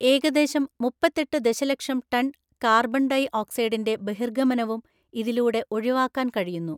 ഏകദേശം മുപ്പത്തെട്ടു ദശലക്ഷം ടണ്‍ കാർബൺ ഡൈഓക്സൈഡിന്റെ ബഹിർഗമനവും ഇതിലൂടെ ഒഴിവാക്കാന്‍ കഴിയുന്നു.